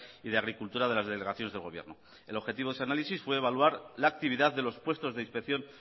y de agricultura de las delegaciones del gobierno el objetivo de su análisis fue evaluar la actividad de los puestos de inspección